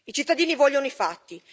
I cittadini vogliono i fatti.